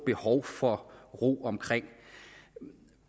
behov for ro omkring